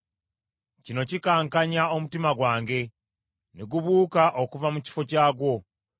“Kino kikankanya omutima gwange, ne gubuuka okuva mu kifo kyagwo.